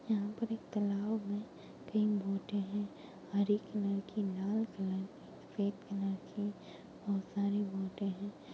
यहाँ पर एक तालाब है तीन बोटे हैं हरे कलर की लाल कलर सफेद कलर की बहुत सारी बोटे हैं।